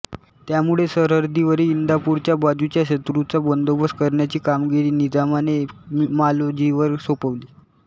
त्यामुळे सरहद्दीवरील इंदापूरच्या बाजूच्या शत्रूचा बदोबस्त करण्याची कामगिरी निजामाने मालोजीवर सोपवली